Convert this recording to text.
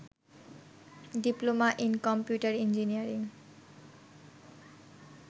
diploma in computer engineering